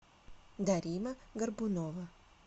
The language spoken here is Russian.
дарина горбунова